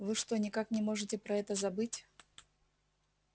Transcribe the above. вы что никак не можете про это забыть